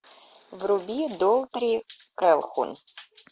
вруби долтри кэлхун